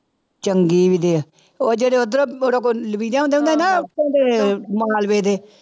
ਚੰਗੀ ਵੀ ਦੇ, ਉਹ ਜਿਹੜੇ ਉੱਧਰ ਉੱਥੋਂ ਦੇ ਮਾਲਵੇ ਦੇ।